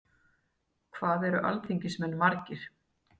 Hvað eru alþingismenn margir?